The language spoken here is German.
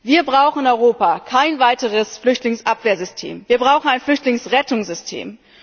Wir brauchen in Europa kein weiteres Flüchtlingsabwehrsystem, wir brauchen ein Flüchtlingsrettungssystem.